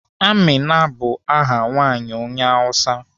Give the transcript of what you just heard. Amina bụ aha nwaanyị onye Awụsa.